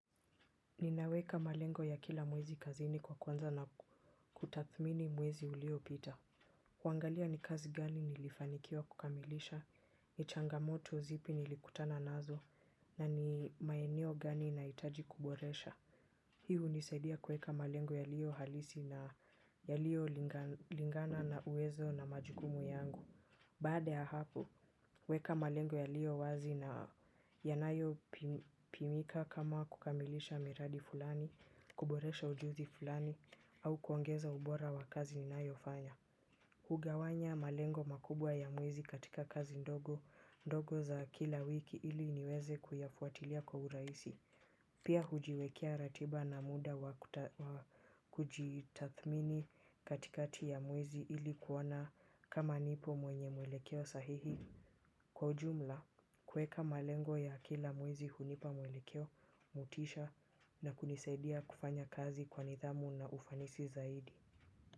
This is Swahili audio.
Ninaweka malengo ya kila mwezi kazini kwa kuanza na kutathmini mwezi uliopita. Kuangalia ni kazi gani nilifanikiwa kukamilisha, ni changamoto zipi nilikutana nazo, na ni maeneo gani nahitaji kuboresha. Hii hunisaidia kuweka malengo yaliyohalisi na yaliyolingana na uwezo na majukumu yangu. Baada ya hapo, huweka malengo yaliyowazi na yanayopimika. Kama kukamilisha miradi fulani, kuboresha ujuzi fulani au kuongeza ubora wa kazi ninayofanya. Hugawanya malengo makubwa ya mwezi katika kazi ndogo ndogo za kila wiki ili niweze kuyafuatilia kwa urahisi. Pia hujiwekea ratiba na muda wa kujitathmini katikati ya mwezi ilikuona kama nipo mwenye muelekeo sahihi. Kwa jumla, kuweka malengo ya kila mwezi hunipa mwelekeo, motisha na kunisaidia kufanya kazi kwa nidhamu na ufanisi zaidi.